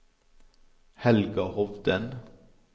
Helga Hovden